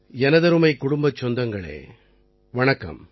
எனதருமைக் குடும்பச் சொந்தங்களே வணக்கம்